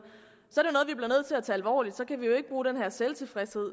så alvorligt så kan vi jo ikke bruge den her selvtilfredshed